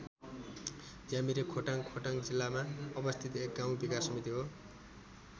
ज्यामिरे खोटाङ खोटाङ जिल्लामा अवस्थित एक गाउँ विकास समिति हो।